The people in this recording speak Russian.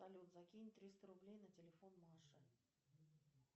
салют закинь триста рублей на телефон маше